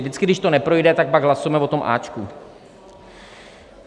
Vždycky, když to neprojde, tak pak hlasujeme o tom áčku.